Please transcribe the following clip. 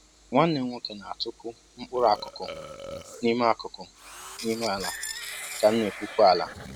Nwanne m nwoke na-atụkpu mkpụrụ akụkụ n'ime akụkụ n'ime ala ka m na-egwupe ala